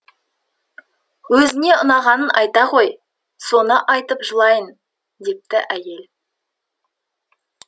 өзіңе ұнағанын айта ғой соны айтып жылайын депті әйелі